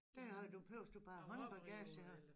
Der har du behøves du bare håndbagage